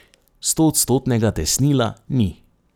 Stoodstotnega tesnila ni.